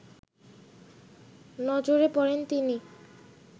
নজরে পড়েন তিনি